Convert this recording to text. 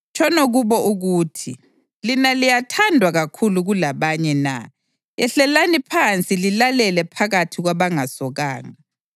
Tshono kubo uthi, ‘Lina liyathandwa kakhulu kulabanye na? Yehlelani phansi lilale phakathi kwabangasokanga.’